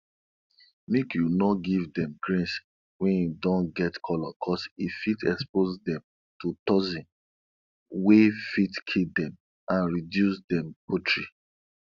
make you no give dem grains wey don get color cuz e fit expose dem to toxin we fit kill dem and reduce dem poultry